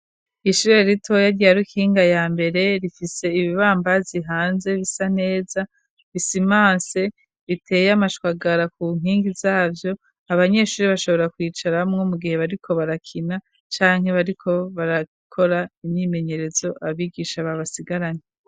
Ishure ritoya rya Rukinga ya mbere, rifise ibibambazi hanze bisa neza bisimanse riteye amashwagara ku nkingi zavyo abanyeshuri bashobora kwicaramwo mu gihe bariko barakina canke bariko barakora imyimenyerezo abigisha babasigaranye.